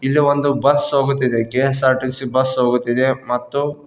ಇದು ಒಂದು ಬಸ್ ಹೋಗುತ್ತಿದೆ ಕೆ_ಎಸ್_ಆರ್ ಟಿ_ಸಿ ಬಸ್ ಹೋಗುತ್ತಿದೆ ಮತ್ತು.